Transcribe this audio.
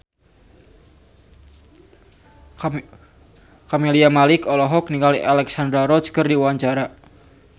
Camelia Malik olohok ningali Alexandra Roach keur diwawancara